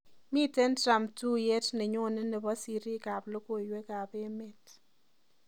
Miten Trumb tuiyet nenyone nebo siriikab logoywekab emet